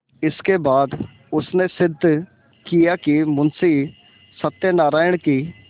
इसके बाद उसने सिद्ध किया कि मुंशी सत्यनारायण की